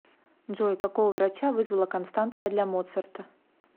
джой какого врача вызвала констанция для моцарта